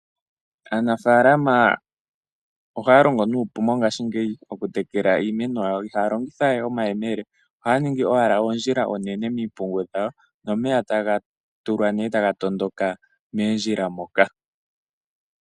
Aanafaalama ohaya longo nuupu mongashingeyi okutekela iimeno yawo. Ihaya longitha we omayemele , ohaya ningi owala oondjila oonene miimpungu yawo, nomeya taga tondoka moondjila moka